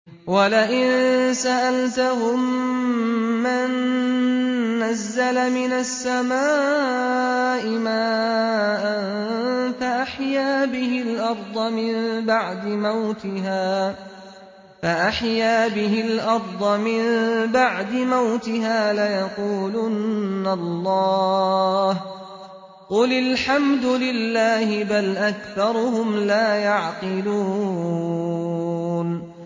وَلَئِن سَأَلْتَهُم مَّن نَّزَّلَ مِنَ السَّمَاءِ مَاءً فَأَحْيَا بِهِ الْأَرْضَ مِن بَعْدِ مَوْتِهَا لَيَقُولُنَّ اللَّهُ ۚ قُلِ الْحَمْدُ لِلَّهِ ۚ بَلْ أَكْثَرُهُمْ لَا يَعْقِلُونَ